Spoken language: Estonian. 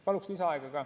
Paluks lisaaega ka.